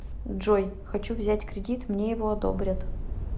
джой хочу взять кредит мне его одобрят